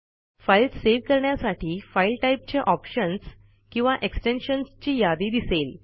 file save करण्यासाठी file टाईपचे options किंवा एक्सटेन्शन्सची यादी दिसेल